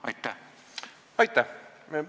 Aitäh!